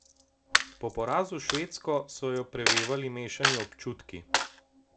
Po porazu s Švedsko so jo prevevali mešani občutki.